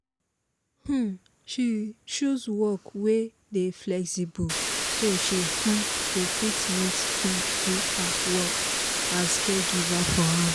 um she choose work wey dey flexible so she um go fit meet um do her work as caregiver for house